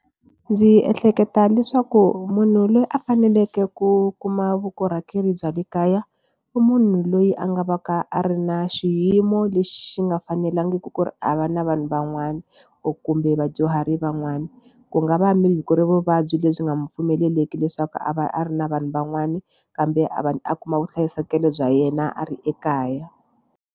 Ndzi ehleketa leswaku munhu loyi a faneleke ku kuma vukorhokeri bya le kaya i munhu loyi a nga va ka a ri na xiyimo lexi nga fanelangiki ku ri a va na vanhu van'wana kumbe vadyuhari van'wana ku nga va maybe ku ri vuvabyi lebyi nga mu pfumeleliki leswaku a va a ri na vanhu van'wani kambe a va a kuma vuhlayiseki bya yena a ri ekaya.